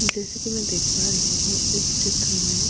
जैसे कि मैं देख पा रही हूं इस चित्रमें --